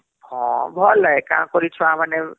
ହଁ ଭଲେ କଣ କରି ଛୁଆ ମାନେ